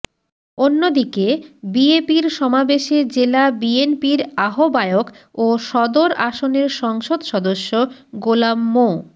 অন্যদিকে বিএপির সমাবেশে জেলা বিএনপির আহবায়ক ও সদর আসনের সংসদ সদস্য গোলাম মো